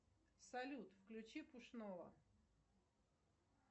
салют включи пушного